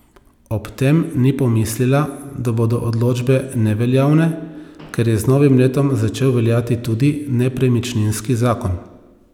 Ob tem ni pomislila, da bodo odločbe neveljavne, ker je z novim letom začel veljati tudi nepremičninski zakon.